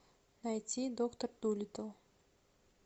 найти доктор дулиттл